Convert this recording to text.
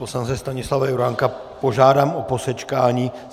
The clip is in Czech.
Poslance Stanislava Juránka požádám o posečkání.